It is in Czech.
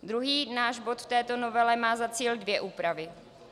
Druhý náš bod v této novele má za cíl dvě úpravy.